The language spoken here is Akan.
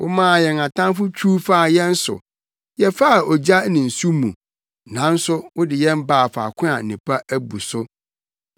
Womaa yɛn atamfo twiw faa yɛn so; yɛfaa ogya ne nsu mu, nanso wode yɛn baa faako a nnepa abu so.